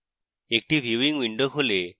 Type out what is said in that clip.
একটি viewing window খোলে